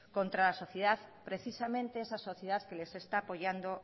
contra la sociedad precisamente esa sociedad que les está apoyando